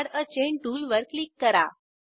add a chain टूलवर click करा